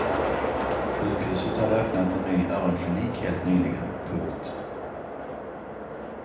Sjukhuset hade öppnat en ny öronklinik helt nyligen. punkt